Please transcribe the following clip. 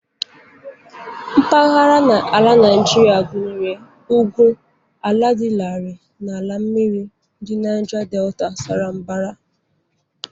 Mpaghara ala Naijiria gụnyere ugwu, ala dị larịị, na ala mmiri ndi Naija Detà sara mbara.